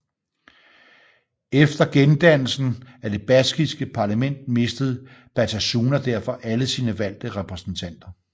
Efter gendannelsen af det baskiske parlament mistede Batasuna derfor alle sine valgte repræsentanter